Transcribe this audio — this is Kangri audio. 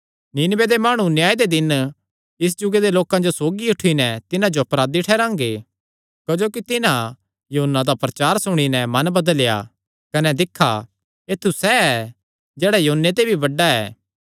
नीनवे दे माणु न्याय दे दिन इस जुगे दे लोकां सौगी उठी नैं तिन्हां जो अपराधी ठैहरांगे क्जोकि तिन्हां योना दा प्रचार सुणी नैं मन बदलेया कने दिक्खा ऐत्थु सैह़ ऐ जेह्ड़ा योने ते भी बड्डा ऐ